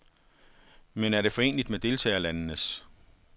Men er det foreneligt med deltagerlandenes?